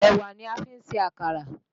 Èwà ni a fi ń ṣe àkàrà